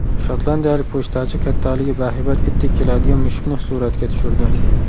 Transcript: Shotlandiyalik pochtachi kattaligi bahaybat itdek keladigan mushukni suratga tushirdi.